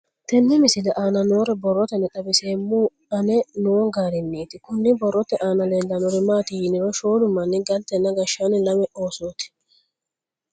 Tenne misile aana noore borroteni xawiseemohu aane noo gariniiti. Kunni borrote aana leelanori maati yiniro shoolu manni galtenna gashshaanni lame oosooti.